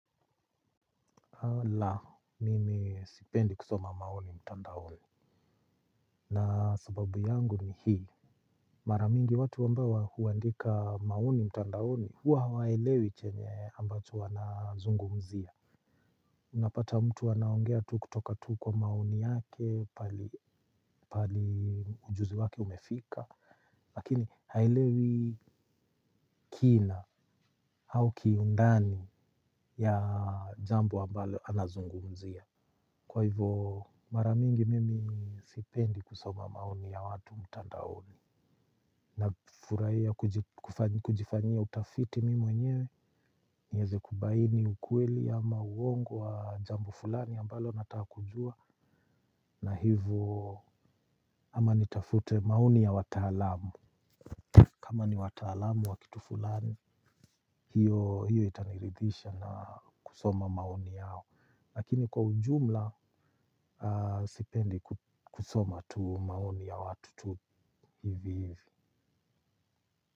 Ala mimi sipendi kusoma maoni mtandaoni. Na sababu yangu ni hii. Mara mingi watu ambao huandika maoni mtandaoni huwa hawaelewi chenye ambacho wanazungumzia. Unapata mtu anaongea tu kutoka tu kwa maoni yake pali ujuzi wake umefika. Lakini haelewi kina au kiundani ya jambo ambalo anazungumzia kwa hivo mara mingi mimi sipendi kusoma maoni ya watu mtandaoni. Na furahia kujifanyia utafiti mimi mwenyewe. Niweze kubaini ukweli ama uongo wa jambo fulani ambalo nataka kujua. Na hivo ama nitafute maoni ya wataalam. Kama ni wataalamu wa kitu fulani. Hiyo itaniridisha na kusoma maoni yao. Lakini kwa ujumla sipendi kusoma tu maoni ya watu tu hivi hivi.